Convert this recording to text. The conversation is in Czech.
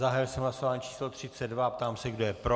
Zahájil jsem hlasování číslo 32 a ptám se, kdo je pro.